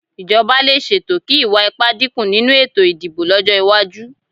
Ìjọba lè ṣètò kí ìwà ipá dínkù nínú ètò ìdìbò lọ́jọ́ iwájú